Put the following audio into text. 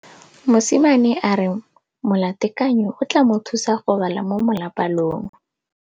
Mosimane a re molatekanyô o tla mo thusa go bala mo molapalong.